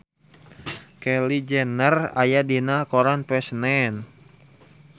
Kylie Jenner aya dina koran poe Senen